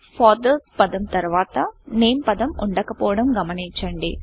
fathers పదం తర్వాత name పదం ఉండకపోవడం గమనించండి